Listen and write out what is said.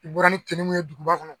N bɔra ni ye duguba kɔnɔ